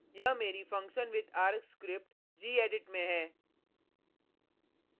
यहाँ मेरी functionwithargs script gedit में है